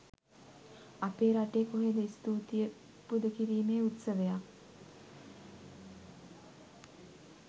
අපේ රටේ කොහේද ස්තුතියි පුද කිරීමේ උත්සවයක්.